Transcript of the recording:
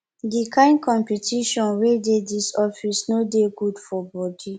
di kain competition wey dey dis office no dey good for bodi